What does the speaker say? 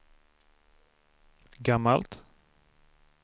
gammalt